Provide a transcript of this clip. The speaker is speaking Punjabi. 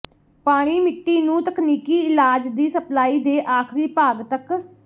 ਪਾਣੀ ਮਿੱਟੀ ਨੂੰ ਤਕਨੀਕੀ ਇਲਾਜ ਦੀ ਸਪਲਾਈ ਦੇ ਆਖਰੀ ਭਾਗ ਤੱਕ